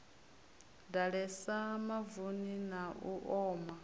ḓalesa mavuni na u oma